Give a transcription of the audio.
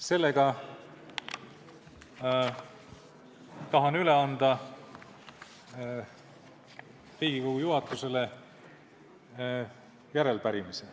Seetõttu tahan anda Riigikogu juhatusele üle järelepärimise.